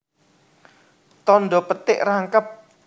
Tandha petik rangkep